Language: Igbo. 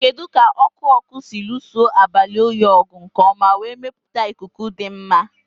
Kedu ka ọkụ ọkụ si lụso abalị oyi ọgụ nke ọma wee mepụta ikuku dị mma?